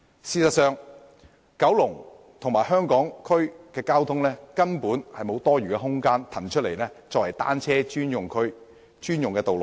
事實上，就九龍和香港區的交通情況而言，根本無法騰出多餘空間作為單車專用區和專用道路。